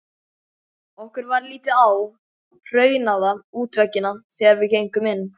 Okkur varð litið á hraunaða útveggina þegar við gengum inn.